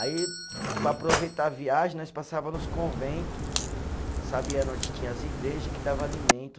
Aí, para aproveitar a viagem, nós passava nos convento, sabia onde tinha as igreja, que dava alimento.